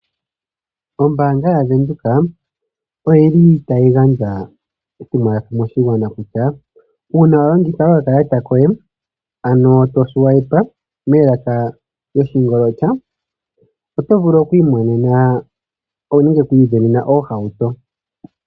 Ombaanga yaVenduka oyili tayi gandja etumwalaka moshigwana kutya uuna walanditha okakalata koye otovulu oku imonena nenge oku isindanena oohauto.